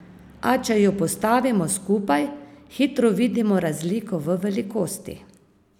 A če ju postavimo skupaj, hitro vidimo razliko v velikosti.